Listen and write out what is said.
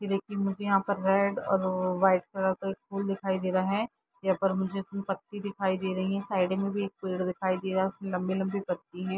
ये देखिए मुझे यहाँ पर रेड और वाइट कलर का एक फूल दिखाई दे रहे हैं। यहाँ पर मुझे पत्ती दिखाई दे रही हैं। साइड में भी एक पेड़ दिखाई दे रहा है। उसकी लंबी-लंबी पत्ती हैं।